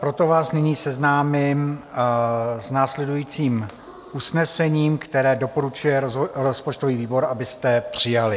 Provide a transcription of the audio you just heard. Proto vás nyní seznámím s následujícím usnesením, které doporučuje rozpočtový výbor, abyste přijali.